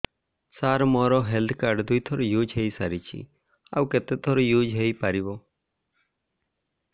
ସାର ମୋ health card ଦୁଇ ଥର ୟୁଜ଼ ହୈ ସାରିଛି ଆଉ କେତେ ଥର ୟୁଜ଼ ହୈ ପାରିବ